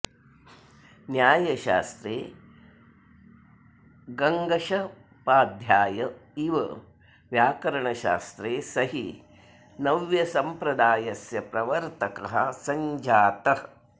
न्यायशास्त्रे गङ्गशपाध्याय ईव व्याकरणशास्त्रे स हि नव्यसम्प्रदायस्य प्रवर्तकः सञ्जातः